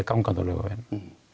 gangandi á Laugaveginum